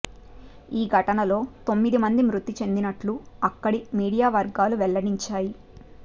ఈ ఘటనలో తొమ్మిది మంది మృతి చెందినట్లు అక్కిడి మీడియా వర్గాలు వెల్లడించాయి